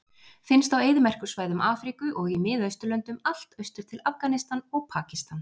Finnst á eyðimerkursvæðum Afríku og í Miðausturlöndum allt austur til Afganistan og Pakistan.